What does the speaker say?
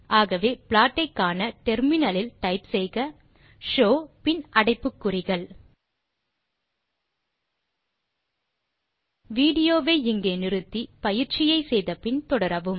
ஆகவே ப்ளாட் ஐக்காண முனையத்தில் டைப் செய்க ஷோவ் பின் அடைப்புக்குறிகள் விடியோவை இங்கே இடைநிறுத்தி கொடுத்த பயிற்சியை செய்ய முயற்சி செய்து பின் தொடரவும்